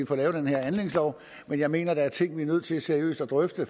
får lavet den her anlægslov men jeg mener at der er ting vi er nødt til seriøst at drøfte